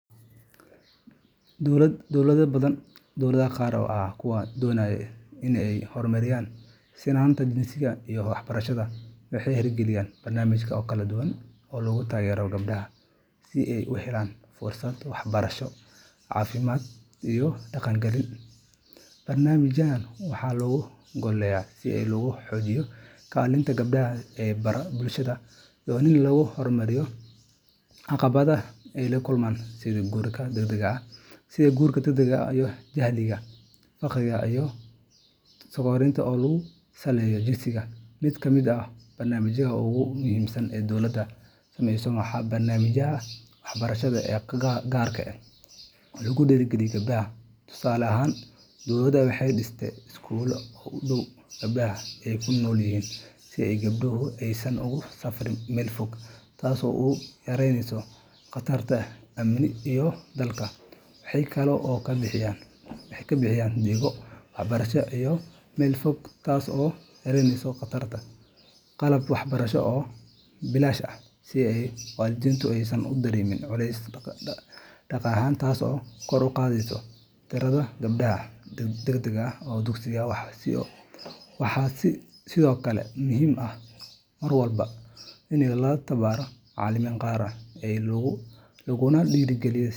Dowlad dowlado badan, gaar ahaan kuwa doonaya in ay horumariyaan sinnaanta jinsiga iyo waxbarashada, waxay hirgeliyeen barnaamijyo kala duwan oo lagu taageerayo gabdhaha si ay u helaan fursado waxbarasho, caafimaad, iyo dhaqaale. Barnaamijyadan waxaa looga gol leeyahay in lagu xoojiyo kaalinta gabdhaha ee bulshada iyo in laga hortago caqabadaha ay la kulmaan sida guurka degdega ah, jahliga, faqriga, iyo takooridda ku saleysan jinsiga. Mid ka mid ah barnaamijyada ugu muhiimsan ee dowladdu samayso waa barnaamijyada waxbarasho ee gaar ah oo lagu dhiirrigeliyo gabdhaha. Tusaale ahaan, dowladdu waxay dhistaa iskuullo u dhow goobaha ay ku nool yihiin si gabdhuhu aysan ugu safriin meel fog, taas oo yareynaysa khatarta amni iyo daalka. Waxaa kale oo la bixiyaa deeqo waxbarasho iyo qalab waxbarasho oo bilaash ah si waalidiintu aysan u dareemin culays dhaqaale, taas oo kor u qaadda tirada gabdhaha dhigta dugsiyada, waxaa sidoo kale muhim ah mar walba. la tababaraa macallimiin gaar ah, laguna dhiirrigeliyaa.